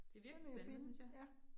Det virkelig spændende synes jeg